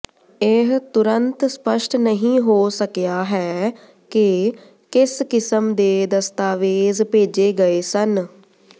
ਇਹ ਤੁਰੰਤ ਸਪਸ਼ਟ ਨਹੀਂ ਹੋ ਸਕਿਆ ਹੈ ਕਿ ਕਿਸ ਕਿਸਮ ਦੇ ਦਸਤਾਵੇਜ਼ ਭੇਜੇ ਗਏ ਸਨ